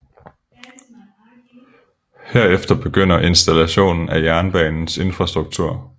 Herefter begynder installationen af jernbanens infrastruktur